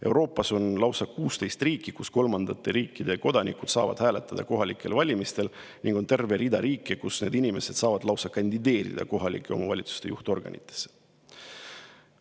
Euroopas on lausa 16 riiki, kus kolmandate riikide kodanikud saavad kohalikel valimistel hääletada, ning on terve rida riike, kus need inimesed saavad lausa kandideerida kohalike omavalitsuste juhtorganitesse.